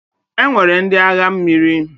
E nwere ndị agha mmiri.